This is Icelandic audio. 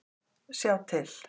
Sjá til